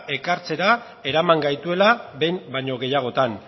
ekartzera eraman gaituela behin baino gehiagotan